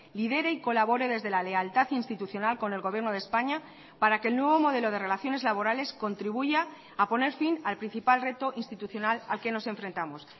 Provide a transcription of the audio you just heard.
lidere y colabore desde la lealtad institucional con el gobierno de españa para que el nuevo modelo de relaciones laborales contribuya a poner fin al principal reto institucional al que nos enfrentamos